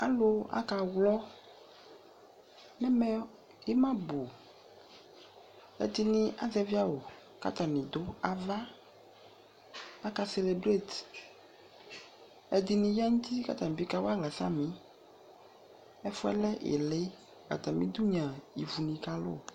Alʋ aka ɣlɔ n'ɛmɛ ɩma bʋ, ɛdɩnɩ azɛvɩ awʋ k'atanɩ dʋ ava, aka celebrate, ɛdɩnɩ ta n'uti k'atanɩ bɩ kawa aɣla samɩ Ɛfʋ yɛ lɛ ɩɩlɩ, atamidu nɩ a ivunɩ kalʋ